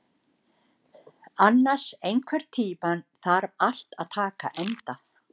Annas, einhvern tímann þarf allt að taka enda.